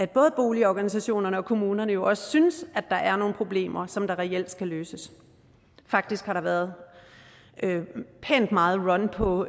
både boligorganisationerne og kommunerne jo også synes at der er nogle problemer som reelt skal løses faktisk har der været pænt meget run på